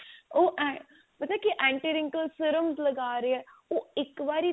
ਉਹ hm ਪਤਾ ਕੀ ਹੈ anti wrinkles ਫ਼ੇਰ ਉਹ ਲਗਾ ਰਹੇ ਆ ਉਹ ਇੱਕ ਵਾਰੀ